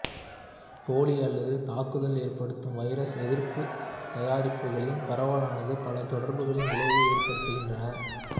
போலி அல்லது தாக்குதல் ஏற்படுத்தும் வைரஸ் எதிர்ப்பு தயாரிப்புகளின் பரவலானது பல தொடர்புகளில் விளைவை ஏற்படுத்துகின்றன